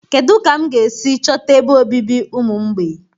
kedu ka m ga-esi chọta ebe obibi ụmụ mgbei?